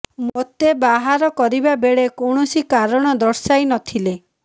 ମୋତେ ବାହାର କରିବା ବେଳେ କୌଣସି କାରଣ ଦର୍ଶାଇ ନ ଥିଲେ